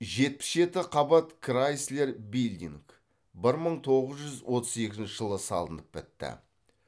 жетпіс жеті қабат крайслер билдинг бір мың тоғыз жүз отыз екінші жылы салынып бітті